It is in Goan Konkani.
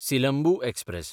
सिलंबू एक्सप्रॅस